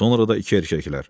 Sonra da iki erkəklər.